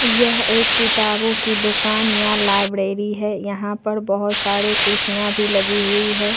यह एक किताबों की दुकान या लाइब्रेरी है यहां पर बहोत सारे कुर्सियां भी लगी हुई है।